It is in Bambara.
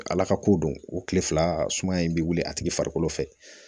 Ala ka ko don o kile fila suma in bɛ wuli a tigi farikolo fɛ